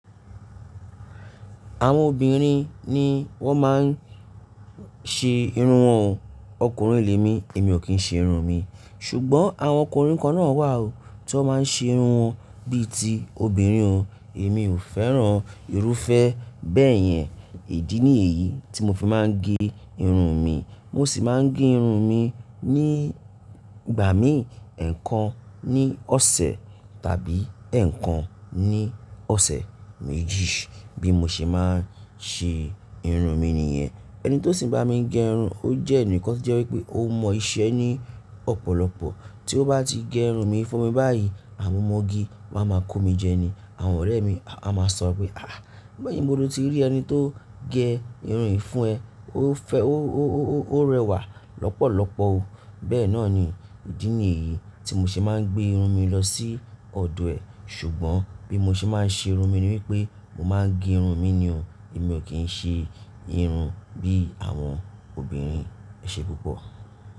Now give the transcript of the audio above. Àwọn obìnrin ni wọ́n máa ń ṣe irun wọn o. Ọkùnrin lé mi, èmi ò kí ń ṣe irun mi. Ṣùgbọ́n àwọn ọkùnrin kan náà wà o tó máa ń ṣe irun wọn bí i ti obìnrin o. Èmi ò fẹ́ran irúfẹ́ bẹ́ẹ̀ yẹn. Ìdí nìyìí tí mo fi máa ń gẹ irun mi. Mo sì máa ń gẹ irun mi ní ìgbà míi ẹ̀ẹ̀kan ní ọ̀sẹ̀ tàbí ẹ̀ẹ̀kan ní ọ̀sẹ̀ méjì bí mo ṣe máa ń ṣe irun mi nìyẹn. Ẹni tó sì ń bá mi gẹ irun o jẹ́ ẹni kan tó jẹ́ wí pé ó mọ iṣẹ́ ní ọ̀pọ̀lọpọ̀. Tí ó bá ti gẹ irun mi fún mi báyìí, àwọn ọmọge máa ma kó mi jẹ ni. Àwọn ọ̀rẹ́ mi á máa sọ pé, "àh! Pe ibo ló ti rí ẹni tó gẹ irun yìí fún ẹ." Ó fẹ́, ó, ó, ó, ó rẹwà lọ́pọ̀lọpọ̀ o. Bẹ́ẹ̀ náà ni ìdí nìyìí tí mo ṣe máa ń gbé irun mi lọ sí ọ̀dọ̀ ẹ̀. Ṣùgbọ́n bí mo ṣe máa ń ṣe irun mi ni wípé mo máa ń gẹ irun mi nì o. Èmi ò kí ń ṣe irun bí àwọn obìnrin. Ẹ ṣe púpọ̀.